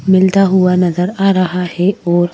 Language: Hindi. मिलता हुआ नज़र आ रहा है और--